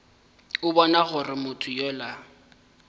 a bona gore motho yola